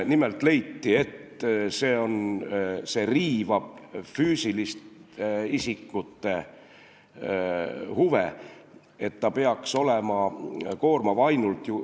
Nimelt leiti, et see riivab füüsiliste isikute huve, et see peaks olema koormav ainult ...